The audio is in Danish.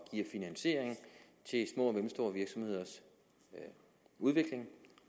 mellemstore virksomheders udvikling